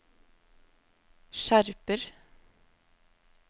skjerper